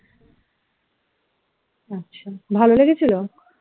আচ্ছা ভাল লেগেছিল?